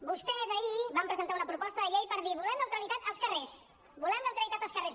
vostès ahir van presentar una proposta de llei per dir volem neutralitat als carrers volem neutralitat als carrers